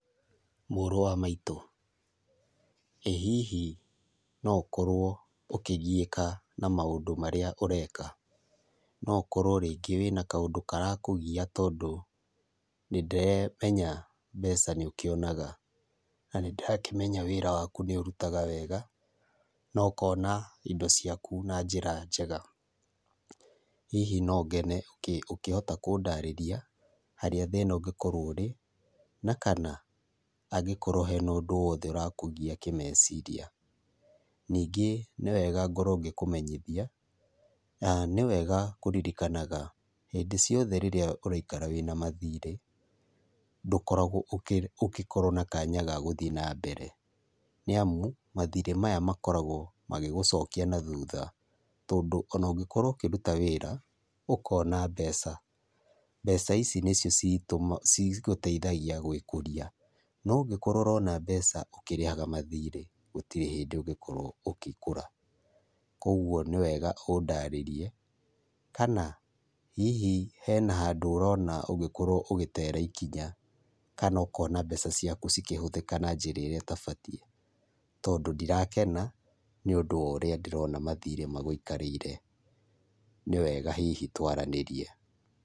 Mũrũ wa maitũ, ĩhihi no ũkorwo ũkĩgiĩka na maũndũ marĩa ũreka? No ũkorwo rĩngĩ wĩnakaũndũ karakũgia tondũ nĩndemenya mbeca nĩũkĩonaga, na nĩ ndakĩmenya wĩra wakũ nĩũrũtaga wega nokona indo ciakũ na njira njega. Hihi nongene ũkĩhota kũndarĩria harĩa thĩna ũngĩkorwo ũrĩ na kana hangĩkorwo hena ũndũ wothe ũrakũgia kĩmeciria. Ningĩ nĩwega ngorwo ngĩkũmenyithia na nĩwega kũrĩrĩkanaga hĩndĩ ciothe rĩrĩa uraikara wĩna mathirĩ ndũkoragwo ũgĩkorwo na kanya ga gũthiĩ na mbere. Nĩamũ mathirĩ maya makoragwo magĩgucokia na thutha, tondũ onongĩkorwo ũkĩrũta wĩra ũkona mbeca. Mbeca ici nĩcio citũmaga cigũteithagia gwĩkũria, no ũngĩkorwo ũrona mbeca ũkĩrihaga mathirĩ gũtĩrĩ hindĩ ũngĩkorwo ũkĩkũra. Kogwo nĩ wega ũndarĩrie kana hihi hena handũ ũrona ũgĩkorwo ũgĩtera ikinya kana ũkona mbeca ciaku cikĩhũthĩka na njĩra ĩrĩa itabatie, tondũ ndirakena nĩũndũ worĩa ndĩrona mathirĩ magũikarĩire, nĩwega hihi twaranĩrie.